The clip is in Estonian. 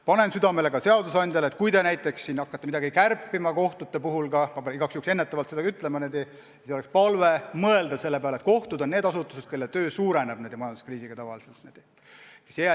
Panen seadusandjale südamele, et kui te hakkate midagi kohtute puhul kärpima – ütlen seda igaks juhuks ennetavalt –, siis on palve mõelda selle peale, et kohtud on asutused, kelle töö hulk majanduskriisi ajal tavaliselt kasvab.